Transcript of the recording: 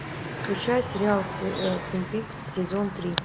включай сериал твин пикс сезон три